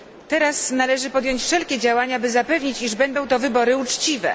Teraz należy podjąć wszelkie działania, by zapewnić, iż będą to wybory uczciwe.